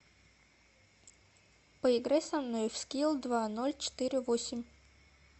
поиграй со мной в скилл два ноль четыре восемь